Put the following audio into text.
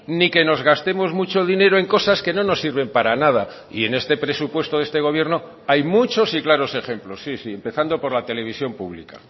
ni que nos gastemos mucho dinero en cosas que no nos sirven para nada y en este presupuesto de este gobierno hay muchos y claros ejemplos sí sí empezando por la televisión pública